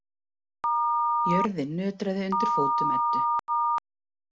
Jörðin nötraði undir fótum Eddu.